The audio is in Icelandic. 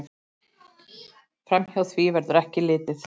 Framhjá því verður ekki litið.